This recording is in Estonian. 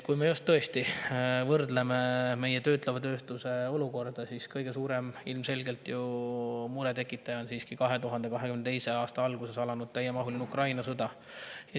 Kui me võrdleme meie töötleva tööstuse olukorda, siis kõige suurem mure tekitaja on ilmselgelt siiski 2022. aasta alguses alanud täiemahuline Ukraina sõda.